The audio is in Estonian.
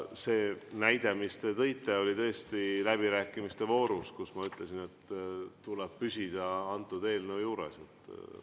See, mille te näitena tõite, tõesti toimus läbirääkimiste voorus, kui ma ütlesin, et tuleb püsida antud eelnõu juures.